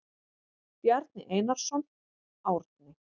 Bjarni Einarsson, Árni.